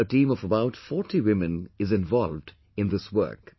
Today a team of about forty women is involved in this work